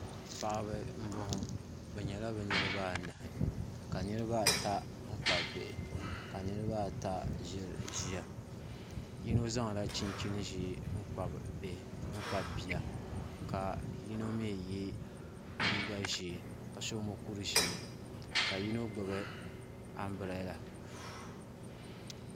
Paɣaba n bɔŋɔ bi nyɛla bi niraba anahi ka niraba ata n kpabi bihi ka niraba ata ʒiri ʒiya yino zaŋla chinchin ʒiɛ kpabi Bia ka yino mii yɛ liiga ʒiɛ ka so mokuru ʒiɛ ka yino gbubi anbirɛla